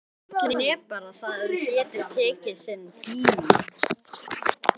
Gallinn er bara sá að það getur tekið sinn tíma.